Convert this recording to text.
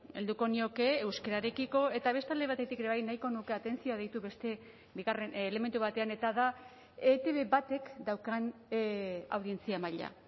helduko nioke euskararekiko eta beste alde batetik ere bai nahiko nuke atentzioa deitu beste bigarren elementu batean eta da etb batek daukan audientzia maila